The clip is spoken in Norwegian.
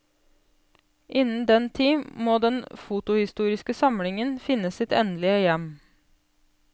Innen den tid må den fotohistoriske samlingen finne sitt endelige hjem.